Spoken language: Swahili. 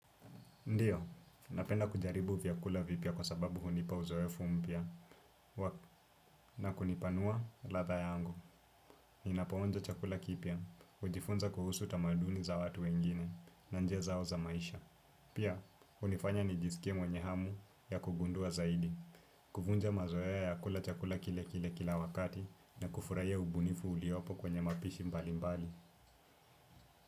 Ndiyo, napenda kujaribu vyakula vipya kwa sababu hunipa uzoefu mpya na kunipanua ladha yangu. Ninapoonja chakula kipya, hujifunza kuhusu tamaduni za watu wengine na njia zao za maisha. Pia, hunifanya nijisikie mwenye hamu ya kugundua zaidi, kuvunja mazoea ya kula chakula kile kile kila wakati na kufurahia ubunifu uliopo kwenye mapishi mbali mbali.